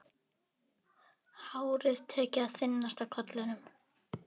Hárið tekið að þynnast á kollinum.